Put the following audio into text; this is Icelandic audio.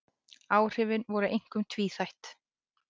Áhrifin voru einkum tvíþætt